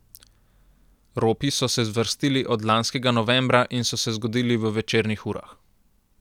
Ropi so se zvrstili od lanskega novembra in so se zgodili v večernih urah.